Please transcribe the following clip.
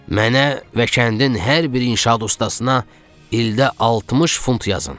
"Mənə və kəndin hər bir inşaat ustasına ildə 60 funt yazın."